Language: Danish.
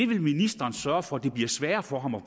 vil ministeren sørge for at det bliver sværere for ham at